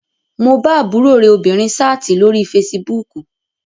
Mo bá àbúrò rẹ obìnrin sáàtì lórí fesibúùkù